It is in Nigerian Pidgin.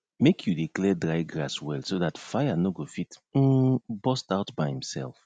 make you dey clear dry grass well so dat fire no go fit um burst out by imself